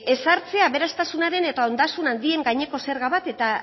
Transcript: ezartzea aberastasunaren eta ondasun handien gaineko zerga bat eta